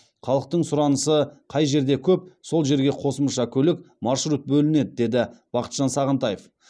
халықтың сұранысы қай жерде көп сол жерге қосымша көлік маршрут бөлінеді деді бақытжан сағынтаев